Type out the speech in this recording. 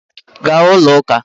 Gaa ụlọ ụka!